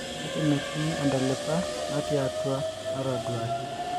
kake metii intalipa natii atua nataduaki